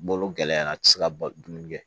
Bolo gɛlɛyara a ti se ka dumuni kɛ